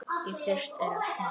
Í fyrstu er allt matt.